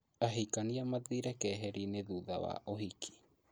Ahikania mathire keheri-inĩ thutha wa ũhiki